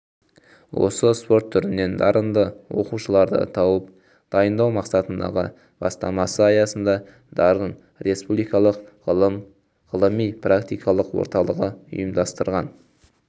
осы спорт түрінен дарынды оқушыларды тауып дайындау мақсатындағы бастамасы аясында дарын республикалық ғылыми-практикалық орталығы ұйымдастырған